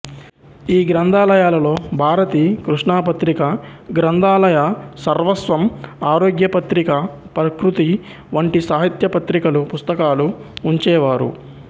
ఈ గ్రంధాలయాలలో భారతి కృష్ణాపత్రిక గ్రంధాలయసర్వస్వం ఆరోగ్యపత్రిక ప్రకృతి వంటి సాహిత్య పత్రికలు పుస్తకాలు ఉంచేవారు